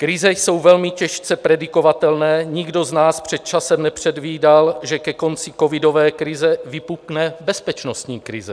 Krize jsou velmi těžce predikovatelné, nikdo z nás před časem nepředvídal, že ke konci covidové krize vypukne bezpečnostní krize.